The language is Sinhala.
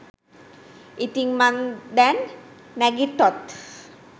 ඉතින් මං දැන් නැගිට්ටොත්